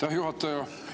Aitäh, juhataja!